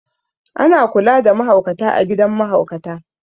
A na kula da mahaukata a gidan mahaukata